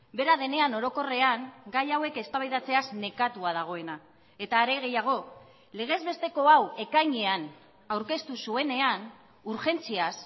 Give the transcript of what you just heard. bera denean orokorrean gai hauek eztabaidatzeaz nekatua dagoena eta are gehiago legezbesteko hau ekainean aurkeztu zuenean urgentziaz